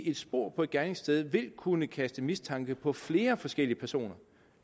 et spor på et gerningssted vil kunne kaste mistanke på flere forskellige personer